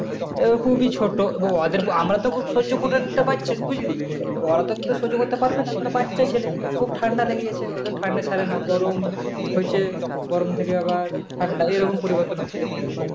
এর খুবই ছোট এবং ওদের আমাদের তো খুব সহ্য করে নিচে পারছি। বুঝলি? ওরা তো এতটা সহ্য করতে পারবে না ওরা বাচ্চা ছেলে। খুব ঠান্ডা লেগেগেছে ওদের ঠান্ডা ছাড়ে না গরম হইছে গরম থেকে আবার ঠান্ডা এরকম পরিবর্তন হচ্ছে।